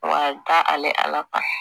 Wa a bɛ da ale kan